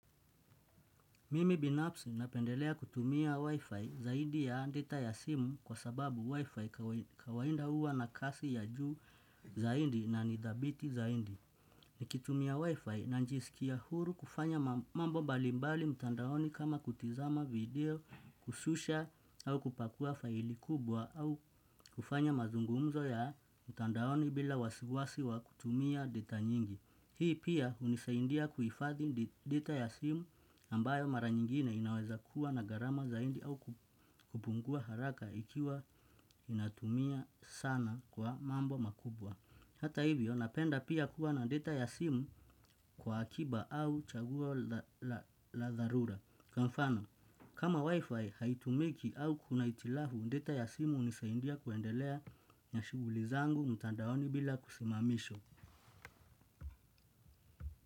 Mimi binafsi napendelea kutumia wifi zaidi ya data ya simu kwa sababu wifi kawaida huwa na kasi ya juu zaidi na ni dhabiti zaidi. Nikitumia wifi na njisikia huru kufanya mambo mbalimbali mtandaoni kama kutizama video kushusha au kupakua faili kubwa au kufanya mazungumzo ya mtandaoni bila wasiwasi wa kutumia data nyingi. Hii pia hunisaindia kuifadhi data ya simu ambayo mara nyingine inaweza kuwa na gharama zaidi au kupungua haraka ikiwa ninatumia sana kwa mambo mkubwa. Hata hivyo napenda pia kuwa na data ya simu, kwa akiba au chaguo la dharura. Kama wifi haitumiki au kuna hitilafu data ya simu hunisaindia kuendelea na shughuli zangu mtandaoni bila kusimamishwa.